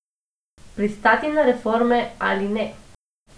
Pristati na reforme ali ne.